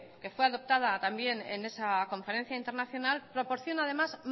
que fue adoptada también en esa conferencia internacional proporciona además